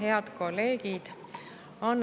Head kolleegid!